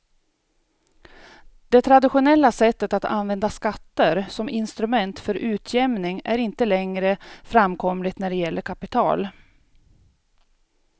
Det traditionella sättet att använda skatter som instrument för utjämning är inte längre framkomligt när det gäller kapital.